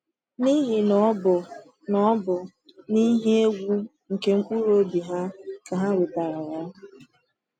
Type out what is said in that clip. N’ihi na ọ bụ na ọ bụ n’ihe egwu nke mkpụrụ obi ha ka ha wetara ya.